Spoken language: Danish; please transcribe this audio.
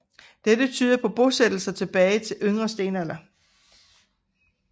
Dette tyder på bosættelser tilbage til yngre stenalder